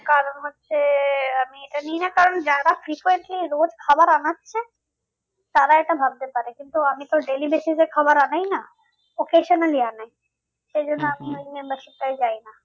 কারণ হচ্ছে আমি এটা নিই না কারণ যারা রোজ খাবার আনাচ্ছে তারা এটা ভাবতে পারে কিন্তু আমি তো daily basis এ খাবার আনাই না occasion membership টায় যাই না